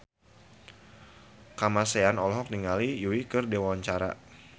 Kamasean olohok ningali Yui keur diwawancara